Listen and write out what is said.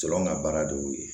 Cɛw ka baara de y'o ye